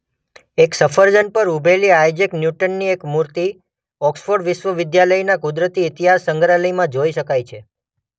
એક સફરજન પર ઊભેલી આઇઝેક ન્યૂટનની એક મૂર્તિ ઑક્સફોર્ડ વિશ્વવિદ્યાલયના કુદરતી ઇતિહાસ સંગ્રહાલયમાં જોઈ શકાય છે.